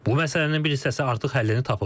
Bu məsələnin bir hissəsi artıq həllini tapıb.